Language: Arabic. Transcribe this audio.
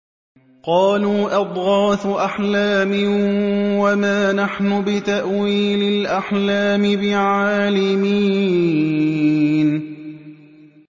قَالُوا أَضْغَاثُ أَحْلَامٍ ۖ وَمَا نَحْنُ بِتَأْوِيلِ الْأَحْلَامِ بِعَالِمِينَ